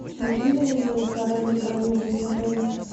могу я узнать про раннее бронирование в отеле